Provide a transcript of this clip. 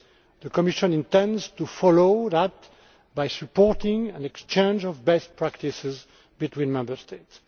The Commission intends to follow that by supporting an exchange of best practices between Member States.